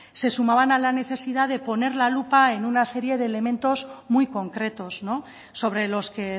se sumaban a la necesidad en poner la lupa en una serie de elementos muy concretos sobre los que